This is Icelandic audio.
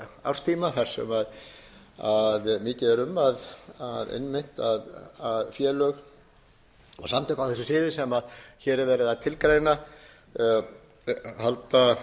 árstíma þar sem mikið er einmitt um að félög og samtök á þessu sviði sem hér er verið að tilgreina halda